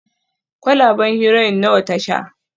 kwalaben Heroin nawa ta sha